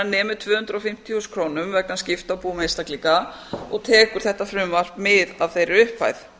nemi tvö hundruð og fimmtíu þúsund krónum vegna skipta á búum einstaklinga og tekur þetta frumvarp mið af þeirri upphæð